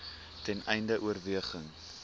ten einde oorweging